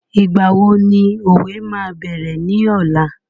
ìgbà wo ni òwe máa bẹ̀rẹ̀ ní ọ̀la?